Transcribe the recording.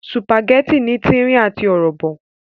Sùpàgẹ́tì ní tírín àti ọ̀rọ̀bọ̀